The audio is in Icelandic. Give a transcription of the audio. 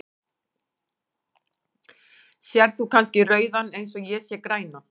Sérð þú kannski rauðan eins og ég sé grænan?.